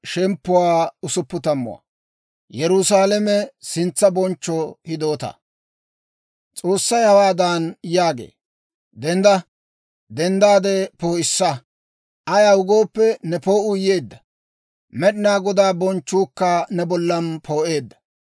S'oossay hawaadan yaagee: «Dendda! Denddaade poo'issa; ayaw gooppe, ne poo'uu yeedda. Med'inaa Godaa bonchchuukka ne bollan poo'eedda.